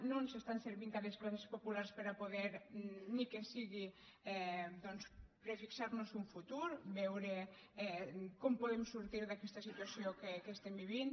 no ens estan servint a les classes populars per a poder ni que sigui doncs per fixar nos un futur veure com podem sortir d’aquesta situació que estem vivint